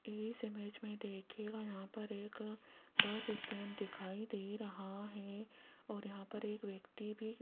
इस इमेज में देखिएगा यहां पर एक बस स्टैंड दिखाई दे रहा है और यहां पर एक व्यक्ति भी --